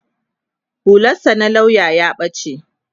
hular sa na lauya ya bace